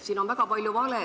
Siin on väga palju valesid.